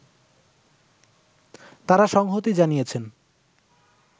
তারা সংহতি জানিয়েছেন